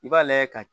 I b'a lajɛ ka